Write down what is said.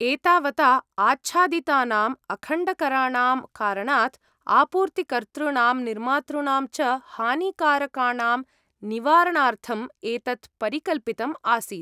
एतावता आच्छादितानाम् अखण्डकराणां कारणात्, आपूर्तिकर्तॄणां निर्मातॄणां च हानिकारकाणां निवारणार्थम् एतत् परिकल्पितम् आसीत्।